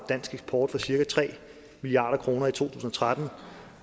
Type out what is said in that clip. dansk eksport cirka tre milliard kroner i to tusind og tretten